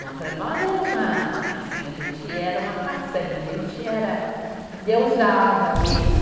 Não, para nós era uma, assim, a gente era uma façanha, a gente era, endeusava ele.